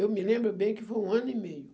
Eu me lembro bem que foi um ano e meio.